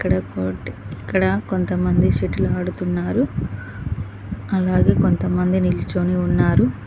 ఇక్కడ ఇక్కడ కొంతమంది సెటిల్ ఆడుతున్నారు. అలాగే కొంతమంది నిల్చొని ఉన్నారు.